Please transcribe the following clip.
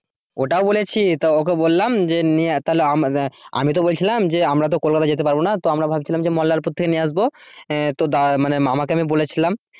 ওটাও বলেছি, তো ওকে বললাম যে নিয়ে তাহলে আমরা আমি তো বলছিলাম যে আমরা তো কলকাতা যেতে পারবো না। তো আমরা ভাবছিলাম যে মল্লারপুর থেকে নিয়ে আসবো আহ তো দা মানে মামাকে আমি বলেছিলাম।